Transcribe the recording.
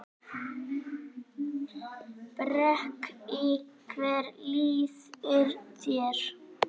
Breki: Hvernig líður þér?